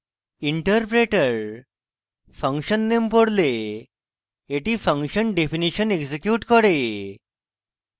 interpreter function name পড়লে এটি function definition executes করে